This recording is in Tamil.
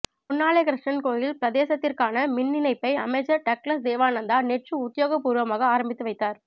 பொன்னாலை கிருஷ்ணன் கோயில் பிரதேசத்திற்கான மின்னிணைப்பை அமைச்சர் டக்ளஸ் தேவானந்தா நேற்று உத்தியோகபூர்வமாக ஆரம்பித்து வைத்தார்